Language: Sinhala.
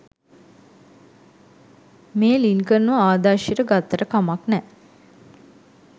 මේ ලින්කන්ව ආදර්ශෙට ගත්තට කමක් නෑ